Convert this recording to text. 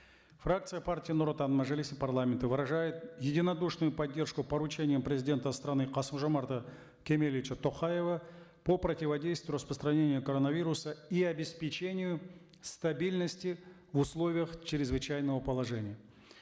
фракция партии нур отан мажилиса парламента выражает единодушную поддержку поручения президента страны касым жомарта кемелевича токаева по противодействию распространения коронавируса и обеспечению стабильности в условиях чрезвычайного положения